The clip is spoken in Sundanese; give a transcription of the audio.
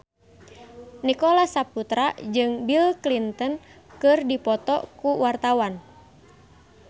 Nicholas Saputra jeung Bill Clinton keur dipoto ku wartawan